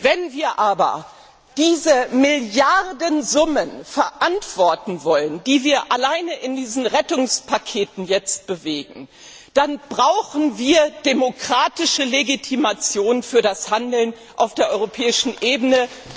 Wenn wir aber diese Milliardensummen verantworten wollen, die wir alleine in diesen Rettungspaketen bewegen, dann brauchen wir demokratische Legitimation für das Handeln auf der europäischen Ebene.